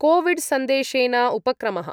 कोविड्सन्देशेन उपक्रमः